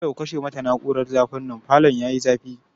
Dole ku kashe mata na'urar zafi nan, falon yayi zafi.